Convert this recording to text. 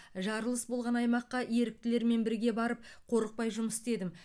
жарылыс болған аймаққа еріктілермен бірге барып қорықпай жұмыс істедім